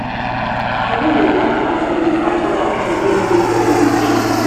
i no dey like as dem dey fight other pipu wey no dey for dem religion.